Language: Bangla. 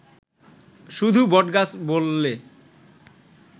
শুধু বটগাছ বললে